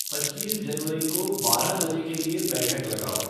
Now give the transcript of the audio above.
पच्चीस जनवरी को बारह बजे के लिए बैठक लगाओ